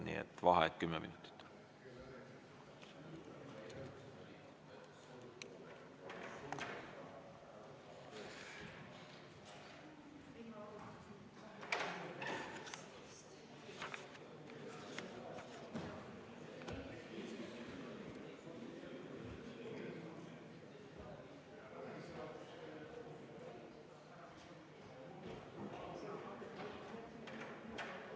Nii et vaheaeg kümme minutit.